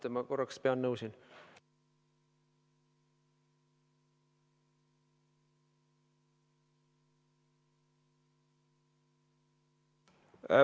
Ma korraks pean nõu.